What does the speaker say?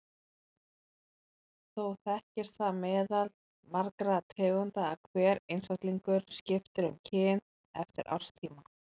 Þó þekkist það meðal margra tegunda að hver einstaklingur skipti um kyn eftir árstíma.